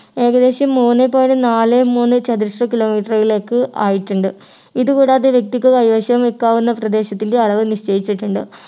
ഏകദേശം മൂന്നു point നാല് മൂന്നു ചതുരശ്ര kilometer കളിലേക്ക് ആയിട്ടുണ്ട് ഇത് കൂടാതെ വ്യക്തിക്ക് കൈവശം വയ്ക്കാവുന്ന പ്രദേശത്തിൻ്റെ അളവ് നിശ്ചയിച്ചിട്ടുണ്ട്